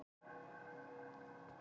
Þessu andmælir Gylfi.